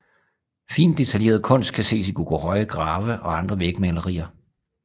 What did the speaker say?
Fint detaljeret kunst kan ses i Goguryeo grave og andre vægmalerier